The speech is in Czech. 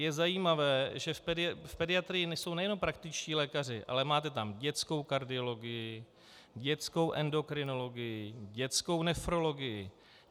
Je zajímavé, že v pediatrii jsou nejenom praktičtí lékaři, ale máte tam dětskou kardiologii, dětskou endokrinologii, dětskou nefrologii.